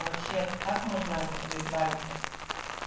вообще как можно от этого избавиться